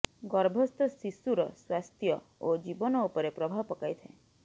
ଗର୍ଭସ୍ଥ ଶିଶୁର ସ୍ବାସ୍ଥ୍ୟ ଓ ଜୀବନ ଉପରେ ପ୍ରଭାବ ପକାଇଥାଏ